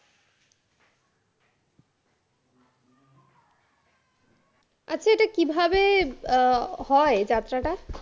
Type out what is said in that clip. আচ্ছা এটা কিভাবে আহ হয় যাত্ৰাটা?